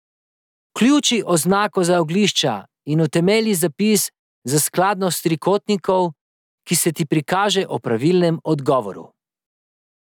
Vključi oznako za oglišča in utemelji zapis za skladnost trikotnikov, ki se ti prikaže ob pravilnem odgovoru.